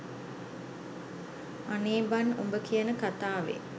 අනේ බන් උඹ කියන කථාවේ